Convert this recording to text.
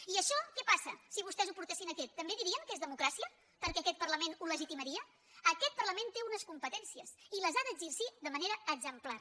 i això què passa si vostès ho portessin aquí també dirien que és democràcia perquè aquest parlament ho legitimaria aquest parlament té unes competències i les ha d’exercir de manera exemplar